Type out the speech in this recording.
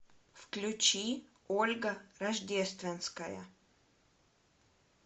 включи ольга рождественская